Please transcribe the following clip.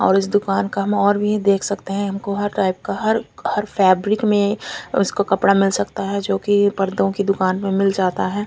और इस दूकान का माहोल भी देख सकते है का हर हर फेब्रिक में उसको कपडा मिल सकता है जो की पर्दों की दूकान पे मिल जाता है।